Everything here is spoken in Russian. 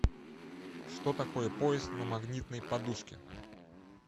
что такое поезд на магнитной подушке